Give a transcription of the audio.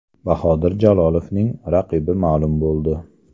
Bahodir Jalolovning raqibi ma’lum bo‘ldi.